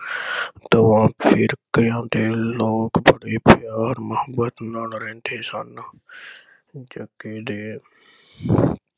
ਤਮਾਮ ਫਿਰਕਿਆਂ ਦੇ ਲੋਕ ਬੜੇ ਪਿਆਰ ਮੁਹੱਬਤ ਨਾਲ ਰਹਿੰਦੇ ਹਨ। ਜੱਗੇ ਦੇ